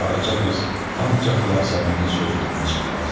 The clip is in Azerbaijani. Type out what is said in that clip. Qaraca qız ancaq Yasəmənin sözündən çıxmazdı.